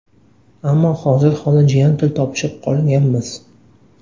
Ammo hozir xola-jiyan til topishib qolganmiz.